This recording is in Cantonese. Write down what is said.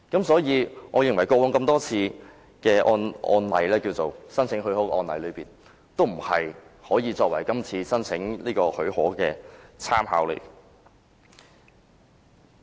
所以，我認為以往多次的特別許可申請先例不能作為這次申請的參考。